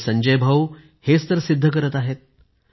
आपले संजय भाऊ हेच सिद्ध करत आहे